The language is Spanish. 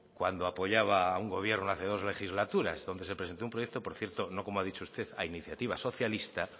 cuando apoyaba a un gobierno hace dos legislaturas donde se presentó un proyecto por cierto no como ha dicho usted a iniciativasocialista